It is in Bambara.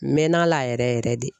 N mɛɛnn'a la yɛrɛ yɛrɛ de